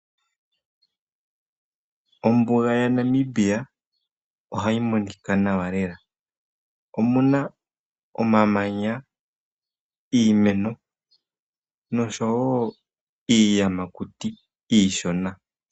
Ombuga yaNamibia ohayi monika nawa lela omuna omamanya, iimeno noshowo iiyamakuti iishona.